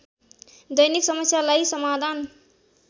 दैनिक समस्यालाई समाधान